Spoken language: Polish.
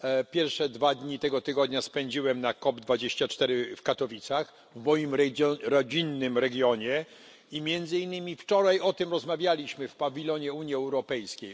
Pierwsze dwa dni tego tygodnia spędziłem na COP24 w Katowicach, w moim rodzinnym regionie, i między innymi wczoraj o tym rozmawialiśmy w pawilonie Unii Europejskiej.